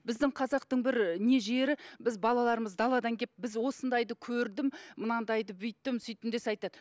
біздің қазақтың бір не жері біз балаларымыз даладан кеп біз осындайды көрдім мынандайды бүйттім сөйттім десе айтады